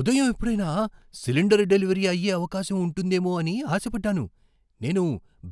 ఉదయం ఎప్పుడైనా cylinder delivery అయ్యే అవకాశం ఉంటుందేమో అని ఆశ పడ్డాను. నేను